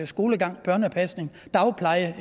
skolegang børnepasning dagpleje